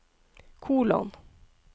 kolon